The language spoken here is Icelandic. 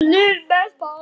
Svo var það ekki meir.